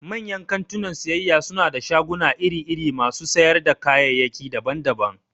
Manyan kantunan siyayya suna da shaguna iri-iri masu sayar da kayayyaki daban-daban.